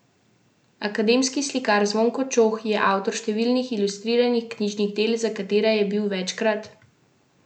Akademski slikar Zvonko Čoh je avtor številnih ilustriranih knjižnih del, za katera je bil večkrat nagrajen.